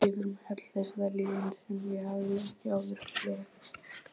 Yfir mig helltist vellíðan sem ég hafði ekki áður upplifað.